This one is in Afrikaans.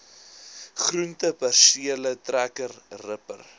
groentepersele trekker ripper